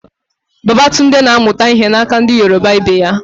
Babatunde na amuta ihe na aka ndi Yoruba Ibe ya